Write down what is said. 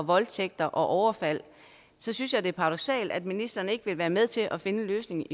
voldtægter og overfald synes jeg det er paradoksalt at ministeren ikke vil være med til at finde en løsning